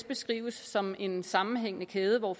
beskrives som en sammenhængende kæde hvor